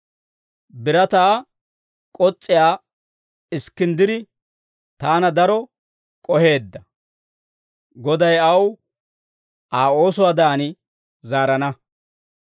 Birataa k'os's'iyaa Iskkinddiri taana daro k'oheedda; Goday aw Aa oosuwaadan zaarana.